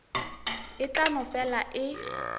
e tla no fela e